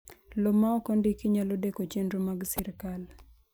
Lowo ma ok ondiki nyalo deko chenro mag sirkal.